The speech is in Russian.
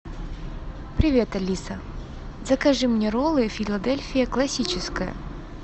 привет алиса закажи мне роллы филадельфия классическая